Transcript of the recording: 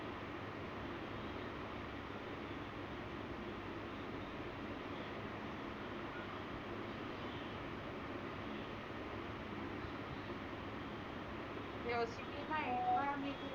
ही अशी pin आहे.